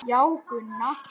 Já, Gunna.